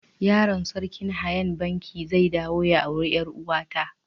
Yaron sarkin hanya'n Bankee zai dawo ya aure yar uwa ta.